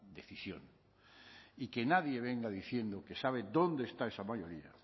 decisión y que nadie venga diciendo que sabe dónde está esa mayoría